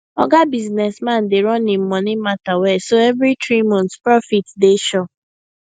oga business man dey run him money matter well so every three months profit dey sure